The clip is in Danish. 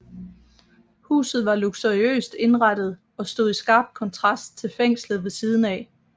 Huset var luksuriøst indrettet og stod i skarp kontrast til fængslet ved siden af